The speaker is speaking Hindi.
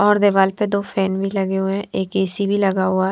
और दीवार पर दो फैन भी लगे हुए हैं एक ऐ_सी भी लगा हुआ हैं।